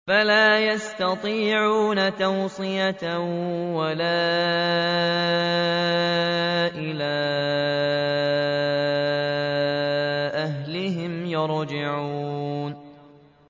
فَلَا يَسْتَطِيعُونَ تَوْصِيَةً وَلَا إِلَىٰ أَهْلِهِمْ يَرْجِعُونَ